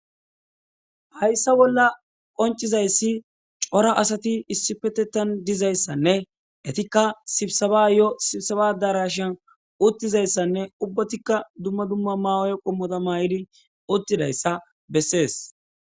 Hayssa bolla qoncizayssi cora asati issipetetan dizayssanne etikka sibsaba yo7o sibsaba darashan uttizayssanne ubbatikka dumma dumma maa7oy qommota maa7idi uttidayssa bessees.